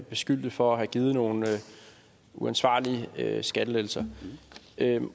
beskyldte for at have givet nogle uansvarlige skattelettelser